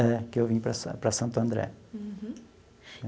É, que eu vim para San para Santo André.